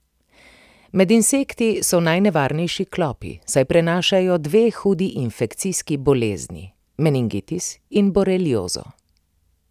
Med insekti so najnevarnejši klopi, saj prenašajo dve hudi infekcijski bolezni, meningitis in boreliozo.